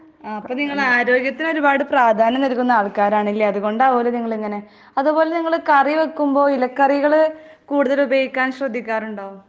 അപ്പോ നിങ്ങള് ആരോഗ്യത്തിന് ഒരുപാടു പ്രാധാന്യം നൽകുന്ന ആള്ക്കാര് ആവുമല്ലേ .അതുകൊണ്ടാവുമല്ലേ നിങ്ങൾ ഇങ്ങനെ .അതുപോലെ നിങ്ങള് കറി വെക്കുമ്പോ ഇല കറികൾ കൂടുതൽ ഉപയോഗിക്കാൻ ശ്രദ്ധിക്കാറുണ്ടോ ?